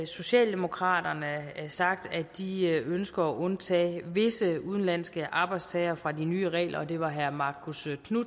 socialdemokratiet sagt at de ønsker at undtage visse udenlandske arbejdstagere fra de nye regler det var herre marcus